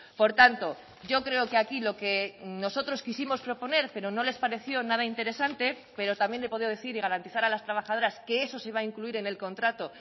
por tanto yo creo que aquí lo que nosotros quisimos proponer pero no les pareció nada interesante pero también le he podido decir y garantizar a las trabajadoras que eso se va a incluir en el contrato